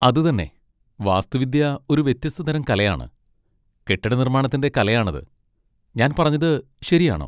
അത് തന്നെ! വാസ്തുവിദ്യ ഒരു വ്യത്യസ്ത തരം കലയാണ്, കെട്ടിടനിർമാണത്തിൻ്റെ കലയാണത്. ഞാൻ പറഞ്ഞത് ശരിയാണോ?